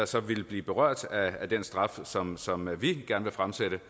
så ville blive berørt af den straf som som vi gerne vil fremsætte